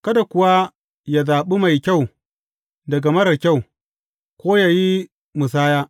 Kada kuwa ya zaɓa mai kyau daga marar kyau, ko yă yi musaya.